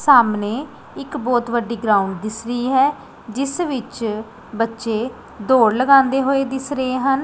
ਸਾਹਮਣੇ ਇੱਕ ਬਹੁਤ ਵੱਡੀ ਗਰਾਊਂਡ ਦਿੱਸ ਰਹੀ ਹੈ ਜਿੱਸ ਵਿੱਚ ਬੱਚੇ ਦੌੜ ਲਗਾਂਦੇਂ ਹੋਏ ਦਿੱਸ ਰਹੇ ਹਨ।